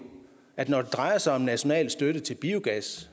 at det når det drejer sig om national støtte til biogas